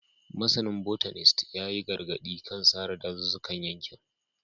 Masanin Botanist ya yi gargadi kan sare dazuzzukan yankin